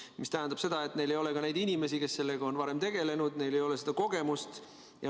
See tähendab seda, et neil ei ole inimesi, kes sellega on varem tegelenud, neil ei ole seda kogemust.